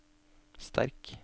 sterk